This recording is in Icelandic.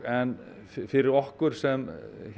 en fyrir okkur sem